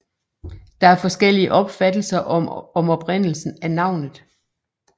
Der er forskellige opfattelser om oprindelsen af navnet